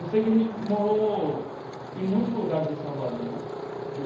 Eu sei que a gente morou em muitos lugares em Salvador.